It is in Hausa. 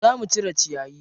Zo mu cire ciyayi.